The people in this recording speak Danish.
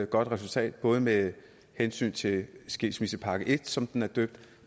godt resultat både med hensyn til skilsmissepakke en som den er døbt